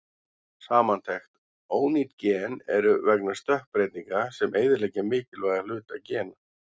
Samantekt: Ónýt gen eru vegna stökkbreytinga sem eyðileggja mikilvæga hluta gena.